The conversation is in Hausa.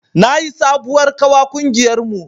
Na yi sabuwar ƙawa ƙungiyar mu